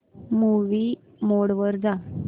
movie mode वर जा